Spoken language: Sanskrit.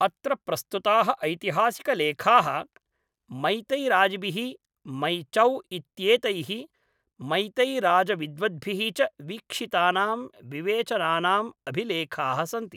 अत्र प्रस्तुताः ऐतिहासिकलेखाः, मैतैराजभिः, मैचौ इत्येतैः मैतैराजविद्वद्भिः च वीक्षितानां विवेचनानाम् अभिलेखाः सन्ति।